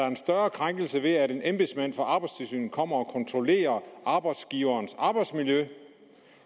en større krænkelse ved at en embedsmand fra arbejdstilsynet kommer og kontrollerer arbejdsgiverens arbejdsmiljø